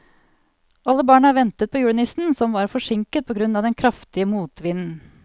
Alle barna ventet på julenissen, som var forsinket på grunn av den kraftige motvinden.